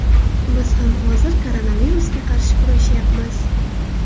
Biz ham hozir koronavirusga qarshi kurashayapmiz.